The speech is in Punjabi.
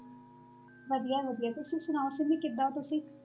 ਵਧੀਆ ਵਧੀਆ ਤੁਸੀਂ ਸੁਣਾਓ ਸਿੰਮੀ ਕਿੱਦਾਂ ਹੋ ਤੁਸੀਂ?